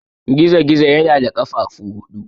Gizo-gizo yana da ƙafafu huɗu.